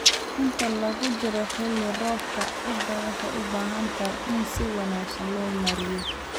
Inta lagu jiro xilli roobaadka, ciidda waxay u baahan tahay in si wanaagsan loo maareeyo.